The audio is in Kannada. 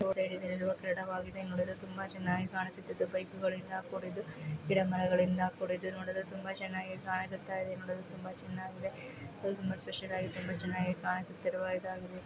ಬೈಕುಗಳಿಂದ ಕೂಡಿದ್ದು ಗಿಡ ಮರಗಳಿಂದ ಕೂಡಿದ್ದು ನೋಡಲು ತುಂಬ ಚೆನ್ನಾಗಿ ಕಾಣಿಸುತ್ತ ಇದೆ